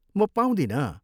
म पाउँदिनँ।